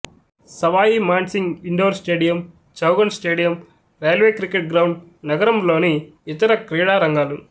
Sawai Mansingh indoor stadium Chaugan stadium railway cricket ground నగరంలోని ఇతర క్రీడా రంగాలు